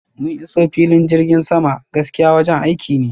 mun iso filin jirgin sama, gaskiya wajen aiki ne